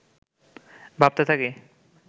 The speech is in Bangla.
ভাবতে থাকি